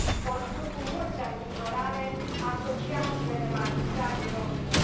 O spun cu multă îngrijorare asociațiile de magistrați din România.